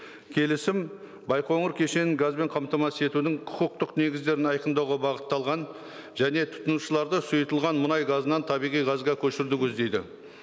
келісім байқоңыр кешенін газбен қамтамасыз етудін құқықтық негіздерін айқындауға бағытталған және тұтынушыларды сұйытылған мұнай газынан табиғи газға көшіруді көздейді